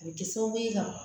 A bɛ di sababu ye ka